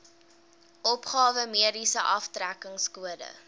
opgawe mediese aftrekkingskode